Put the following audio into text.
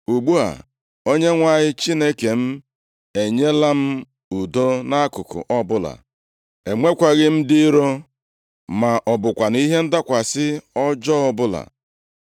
Ugbu a, Onyenwe anyị Chineke m enyela m udo nʼakụkụ ọbụla. Enwekwaghị m ndị iro, ma ọ bụkwanụ ihe ndakwasị ọjọọ ọbụla.